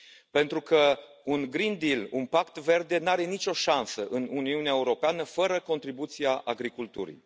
Pentru că un Green Deal un pact verde, nu are nicio șansă în Uniunea Europeană fără contribuția agriculturii.